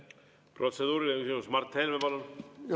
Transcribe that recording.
Protseduuriline küsimus, Mart Helme, palun!